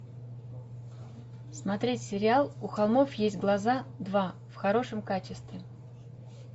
смотреть сериал у холмов есть глаза два в хорошем качестве